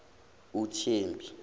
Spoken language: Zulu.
uthembi